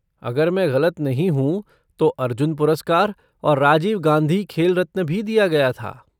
अगर मैं गलत नहीं हूँ तो अर्जुन पुरस्कार और राजीव गांधी खेल रत्न भी दिया गया था।